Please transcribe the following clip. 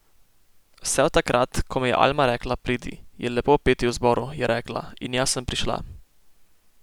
Vse od takrat, ko mi je Alma rekla, pridi, je lepo peti v zboru, je rekla, in jaz sem prišla.